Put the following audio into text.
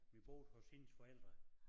Vi boede hos hendes forældre